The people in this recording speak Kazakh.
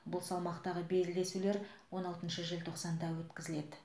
бұл салмақтағы белдесулер он алтыншы желтоқсанда өткізіледі